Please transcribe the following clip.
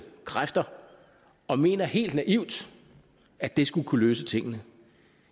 kræfter og mener helt naivt at det skulle kunne løse tingene